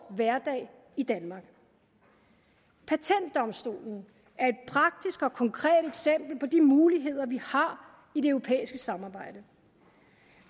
hverdag i danmark patentdomstolen er et praktisk og konkret eksempel på de muligheder vi har i det europæiske samarbejde